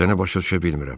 Səni başa düşə bilmirəm.